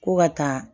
Ko ka taa